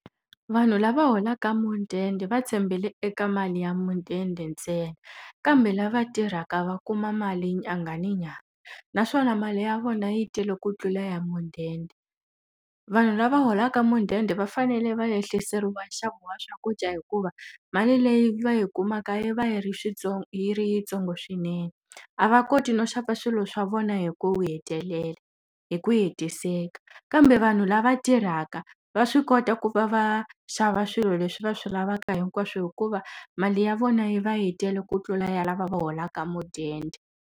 Vanhu lava holaka mudende va tshembele eka mali ya mudende ntsena. Kambe lava tirhaka va kuma mali nyanga ni nyanga, naswona mali ya vona yi tele ku tlula ya mudende. Vanhu lava holaka mudende va fanele va ehliseriwa nxavo wa swakudya hikuva mali leyi va yi kumaka yi va yi ri yi ri yintsongo swinene, a va koti no xava swilo swa vona hi ku hi ku hetiseka. Kambe vanhu lava tirhaka, va swi kota ku va va xava swilo leswi va swi lavaka hinkwaswo hikuva mali ya vona yi va yi tele ku tlula ya lava va holaka mudende.